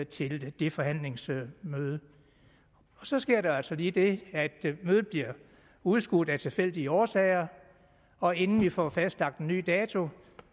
til det forhandlingsmøde så sker der altså lige det at mødet bliver udskudt af tilfældige årsager og inden vi får fastlagt en ny dato